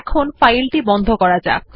এখন ফাইলটি বন্ধ করুন